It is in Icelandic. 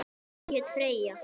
Hún hét Freyja.